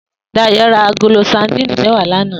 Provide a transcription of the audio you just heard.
Dayo rá àgóló sàdín mèwá làná